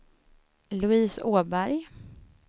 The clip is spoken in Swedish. Louise Åberg